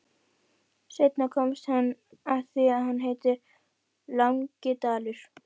Seinna komst hann að því að hann heitir Langidalur.